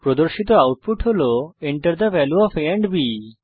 প্রদর্শিত আউটপুট হল Enter the value of a and B